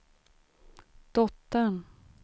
dottern